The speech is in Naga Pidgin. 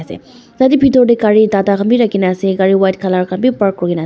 ase tatey bithor tae gari tata khan vi rakhi kena ase gari white colour khan vi park kurina ase.